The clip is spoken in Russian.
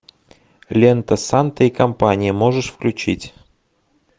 лента санта и компания можешь включить